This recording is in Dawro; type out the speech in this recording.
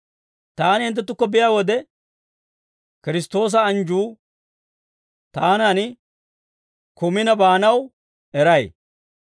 Taani hinttenttukko biyaa wode, Kiristtoosa anjjuu taanan kumina baanawaa eray.